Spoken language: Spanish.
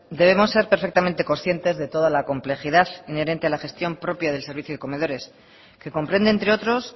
debemos ser perfectamente conscientes de toda la complejidad inherente a la gestión propia del servicio de comedores que comprende entre otros